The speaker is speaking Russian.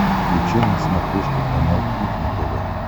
включай на смотрешке канал кухня тв